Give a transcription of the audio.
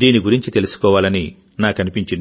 దీని గురించి తెలుసుకోవాలని నాకనిపించింది